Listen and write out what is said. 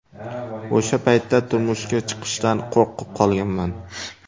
O‘sha paytda turmushga chiqishdan qo‘rqib qolganman.